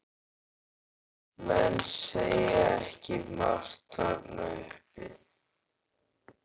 Menn segja ekki margt þarna uppi.